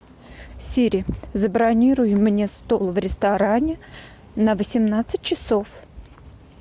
сири забронируй мне стол в ресторане на восемнадцать часов